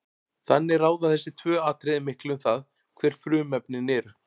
Þannig ráða þessi tvö atriði miklu um það, hver frumefnin eru.